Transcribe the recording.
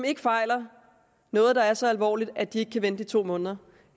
ikke fejler noget der er så alvorligt at de ikke kan vente i to måneder